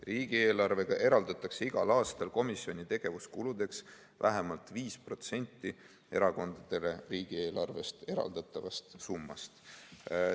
Riigieelarvega eraldatakse igal aastal komisjoni tegevuskuludeks vähemalt 5 protsenti erakondadele riigieelarvest eraldatavast summast.